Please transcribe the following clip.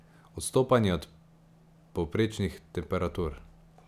Odstopanje od povprečnih temperatur.